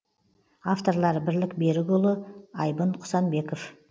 авторлары бірлік берікұлы айбын құсанбеков